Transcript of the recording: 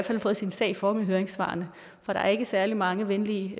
har fået sin sag for med høringssvarene for der er ikke særlig mange venlige